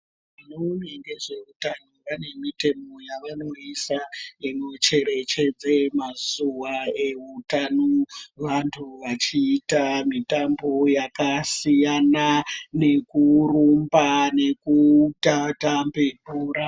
Vanoone ngezveutano vanemitemo yavanoisa inocherechedze mazuva eutano vantu vachiita mitambo yakasiyana, nekurumba nekutambe bhora.